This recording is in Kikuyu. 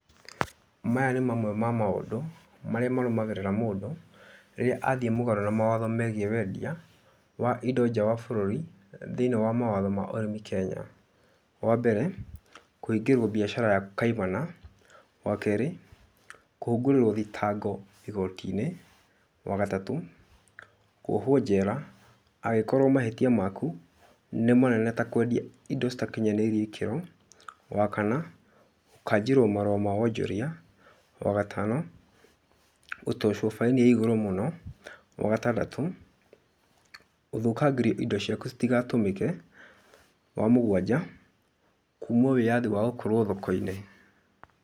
Maya nĩ mamwe ma maũndũ ,marĩa marũmagĩrĩra mũndũ, rĩrĩa athiĩ mũgarũ na mawatho megiĩ wendia, wa indo nja wa bũrũri thĩiniĩ wa mawatho ma ũrĩmi Kenya: Wa mbere, kũhingĩrwo biacara yaku kaimana. Wa kerĩ, kũhungũrĩrĩrwo thitango igoti-inĩ. Wa gatatũ, kũohwo njera angĩkorwo mahĩtia maku nĩ manene ta kũendia indo citakinyanĩire ikĩro. Wa kana, gũkanjĩrwo marũa ma wonjoria. Wa gatano, gũtocwo fine ya igũrũ mũno. Wa gatandatũ, gũthũkangĩrio indo ciaku citigatũmĩke. Wa mũgwanja, kuumwo wĩathi wa gũkorwo thoko-inĩ.